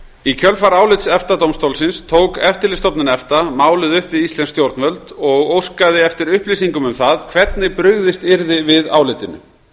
í kjölfar álits efta dómstólsins tók eftirlitsstofnun efta málið upp við íslensk stjórnvöld og óskaði eftir upplýsingum um það hvernig brugðist yrði við álitinu